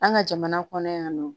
An ka jamana kɔnɔ yan nɔ